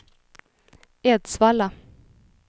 Edsvalla